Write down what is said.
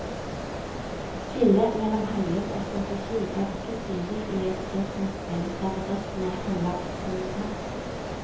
Skillet mellom handling og strategi er ikke synlig i et engangsspill der bedriftene handler simultant.